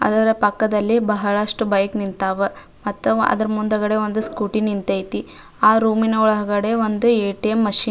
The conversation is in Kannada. ಅದರ ಪಕ್ಕದಲ್ಲಿ ಬಹಳಷ್ಟು ಬೈಕ್ ನಿಂತವ ಮತ್ತ ಅದರ ಮುಂದುಗಡೆ ಒಂದು ಸ್ಕೂಟಿ ನಿಂತೈತಿ ಆಹ್ಹ್ ರೂಮ್ ನ ಒಳಗಡೆ ಒಂದು ಎ.ಟಿ.ಎಂ ಮಷೀನ್ --